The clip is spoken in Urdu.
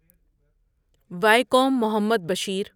وایکوم محمد بشیر